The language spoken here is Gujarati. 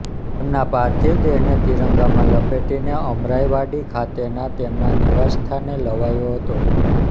તેમના પાર્થિવ દેહને ત્રિરંગામાં લપેટીને અમરાઈવાડી ખાતેના તેમના નિવાસ સ્થાને લવાયો હતો